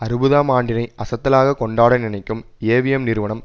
அறுபதாம் ஆண்டினை அசத்தலாக கொண்டாட நினைக்கும் ஏவிஎம் நிறுவனம்